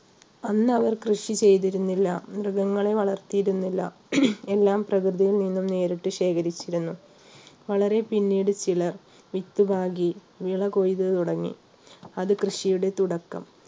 അന്ന് അവർ കൃഷി ചെയ്തിരുന്നില്ല മൃഗങ്ങളെ വളർത്തിയിരുന്നില്ല എല്ലാം പ്രകൃതിയിൽ നിന്നും നേരിട്ട് ശേഖരിച്ചിരുന്നു വളരെ പിന്നീട് ചിലർ വിത്തുപാകി വിള കൊയ്ത് തുടങ്ങി അത് കൃഷിയുടെ തുടക്കം.